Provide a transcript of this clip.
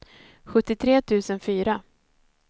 sjuttiotre tusen fyra